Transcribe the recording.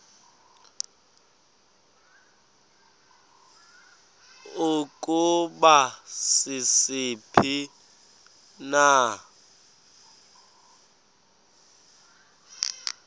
ukuba sisiphi na